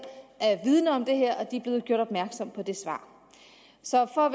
er det er blevet gjort opmærksom på det svar så for at